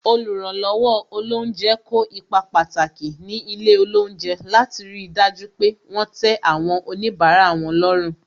Oluranlowo olounje kó ipa pàtàki ní ilé olounje, láti ri dájú pé wọn tẹ àwọn onibara wọn lọ́rùn.